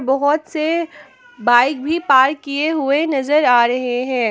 बहुत से बाइक भी पार्क किए हुए नजर आ रहे हैं ।